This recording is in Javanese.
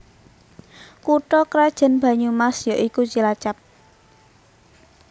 Kutha krajan Banyumas ya iku Cilacap